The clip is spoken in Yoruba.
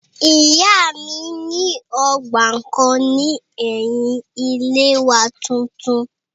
Ìyá mi ní ọgbà kan ní ẹ̀yin ilé wa tuntun